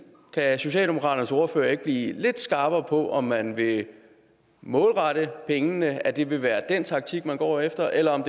kan socialdemokratiets ordfører ikke blive lidt skarpere på om man vil målrette pengene altså om det vil være den taktik man går efter eller om